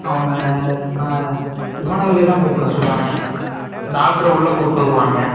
அவனுங்க ஆஹ் இவனுங்களயெல்லாம் கூப்பிட சொல்லுவாங்க டாக்டர்ர உள்ள கூப்பிட்டுவருவானுங்க.